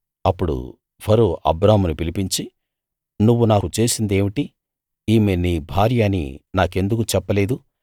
అప్పుడు ఫరో అబ్రామును పిలిపించి నువ్వు నాకు చేసిందేమిటి ఈమె నీ భార్య అని నాకెందుకు చెప్పలేదు